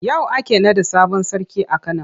Yau ake naɗa sabon sarki a Kano.